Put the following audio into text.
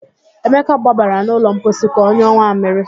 Emeka gbabara n'ụlọ mposi ka ọnyụọ nwammịrị